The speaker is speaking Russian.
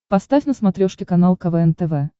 поставь на смотрешке канал квн тв